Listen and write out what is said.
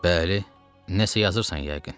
Bəli, nəsə yazırsan yəqin.